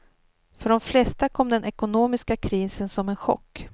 För de flesta kom den ekonomiska krisen som en chock.